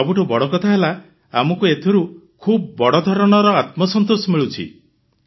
ସବୁଠୁ ବଡ଼ କଥା ହେଲା ଆମକୁ ଏଥିରୁ ଖୁବ୍ ବଡ଼ଧରଣର ଆତ୍ମସନ୍ତୋଷ ମିଳୁଛି